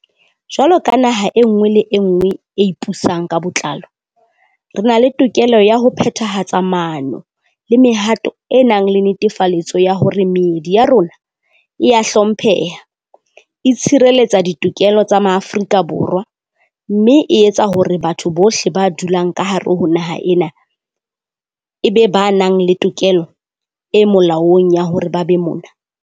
Jwalo ka naha e nngwe le e nngwe e ipusang ka botlalo, re na le tokelo ya ho phethahatsa maano le mehato e nang le netefaletso ya hore meedi ya rona e a hlompheha, e tshireletsa ditokelo tsa Maafrika Borwa, mme e tsa hore batho bohle ba dulang ka hare ho naha ena e be ba nang le tokelo e molaong ya hore ba be mona.